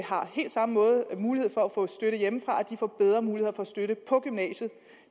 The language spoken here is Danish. har helt samme mulighed for at få støtte hjemmefra får bedre muligheder for støtte på gymnasiet